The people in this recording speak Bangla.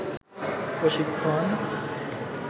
প্রশিক্ষন